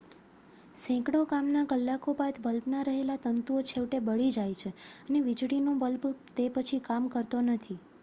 સેંકડો કામના કલાકો બાદ બલ્બમાં રહેલા તંતુઓ છેવટે બળી જાય છે અને વીજળીનો બલ્બ તે પછી કામ કરતો નથી